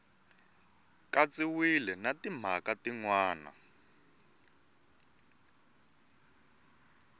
katsiwile na timhaka tin wana